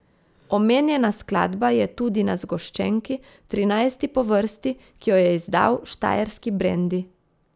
Omenjena skladba je tudi na zgoščenki, trinajsti po vrsti, ki jo je izdal Štajerski Brendi.